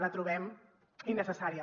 la trobem innecessària